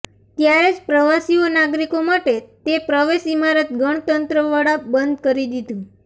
ત્યારે જ પ્રવાસીઓ નાગરિકો માટે તે પ્રવેશ ઇમારત ગણતંત્ર વડા બંધ કરી દીધું